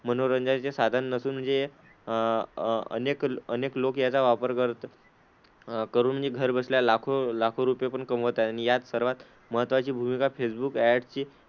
मनोरंजनाचे साधन नसून म्हणजे हे अह अह अनेक अनेक लोक याचा वापर करत करून नि घरबसल्या लाखो लाखो रुपये पण कमवत आहेत, आणि यात सर्वात महत्त्वाची भूमिका फेसबुक ऍड्सची,